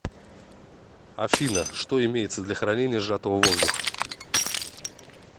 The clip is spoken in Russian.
афина что имеется для хранения сжатого воздуха